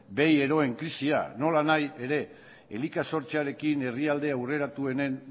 behi eroen krisia nolanahi ere elika sortzearekin herrialde aurreratuenen